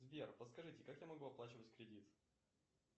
сбер подскажите как я могу оплачивать кредит